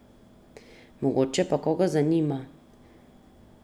Mogoče pa koga zanima.